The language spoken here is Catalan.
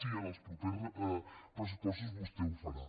si en els propers pressupostos vostè ho farà